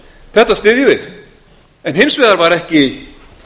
þetta styðjum við en hins vegar var ekki